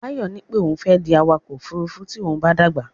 Báyọ̀ ní pé òun fẹ́ di awakọ̀ ófurufú tí òun bá dàgbà.